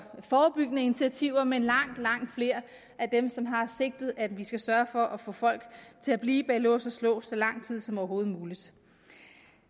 forebyggende initiativer men langt langt flere af dem som har det sigte at vi skal sørge for at få folk til at blive bag lås og slå så lang tid som overhovedet muligt